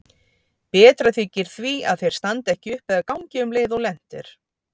Betra þykir því að þeir standi ekki upp eða gangi um leið og lent er.